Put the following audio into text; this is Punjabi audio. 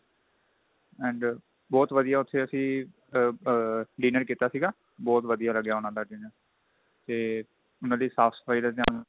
and ਬਹੁਤ ਵਧੀਆ ਉੱਥੇ ਅਸੀਂ ਆ dinner ਕੀਤਾ ਸੀਗਾ ਬਹੁਤ ਵਧੀਆ ਲੱਗਿਆ ਉਹਨਾ ਦਾ dinner ਤੇ ਉਹਨਾ ਦੀ ਸਾਫ਼ ਸਫਾਈ ਦਾ ਧਿਆਨ